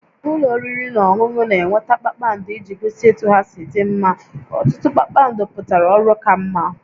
Ụlọ oriri na ọṅụṅụ na-enweta kpakpando iji gosi etu ha si dị mma, ọtụtụ kpakpando pụtara ọrụ ka mma